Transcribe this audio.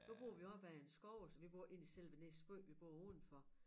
Nu bor vi op ad en skov og altså vi bor ikke ind i selve Nissumby vi bor udenfor